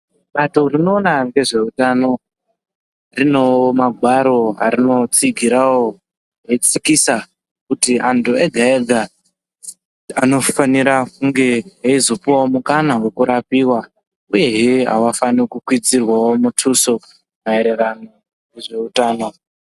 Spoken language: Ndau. Bato rinoona ngezveutano rinowo magwaro arinotsigirawo eitsikisa kuti antu ega ega anofanira kunge eizopuwawo mukana wekurapiwa uyehe avafani kukwidzirwawo mutuso maererano nezveutano.